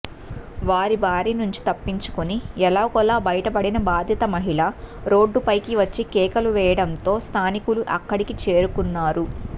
వారి బారి నుంచి తప్పించుకుని ఎలాగోలా బయటపడిన బాధిత మహిళ రోడ్డుపైకి వచ్చి కేకలు వేయడంతో స్థానికులు అక్కడికి చేరుకున్నారు